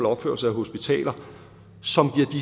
opførelse af hospitaler som